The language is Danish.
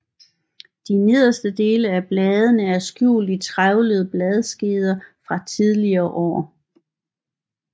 De nederste dele af bladene er skjult i trævlede bladskeder fra tidligere år